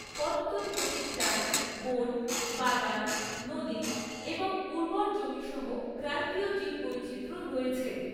পত্তনমতিট্টায় বন, বাগান, নদী এবং উর্বর জমি সহ ক্রান্তীয় জীববৈচিত্র্য রয়েছে।